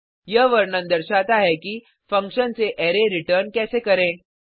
यह वर्णन दर्शाता है कि फंक्शन से अरै रिटर्न कैसे करें